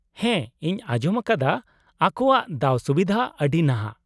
-ᱦᱮᱸ ᱤᱧ ᱟᱸᱡᱚᱢ ᱟᱠᱟᱫᱟ ᱟᱠᱚᱣᱟᱜ ᱫᱟᱣᱼᱥᱩᱵᱤᱫᱷᱟ ᱟᱹᱰᱤ ᱱᱟᱦᱟᱜ ᱾